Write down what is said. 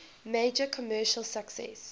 major commercial success